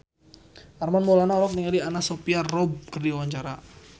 Armand Maulana olohok ningali Anna Sophia Robb keur diwawancara